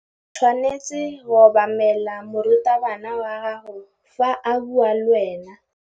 O tshwanetse go obamela morutabana wa gago fa a bua le wena.